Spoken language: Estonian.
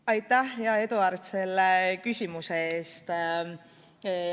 Aitäh, hea Eduard, selle küsimuse eest!